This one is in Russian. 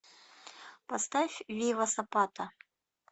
поставь вива сапата